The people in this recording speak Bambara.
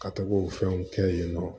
Ka tɔgɔ o fɛnw kɛ yen nɔ